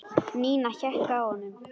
Nína hékk á honum.